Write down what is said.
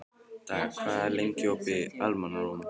Daði, hvað er lengi opið í Almannaróm?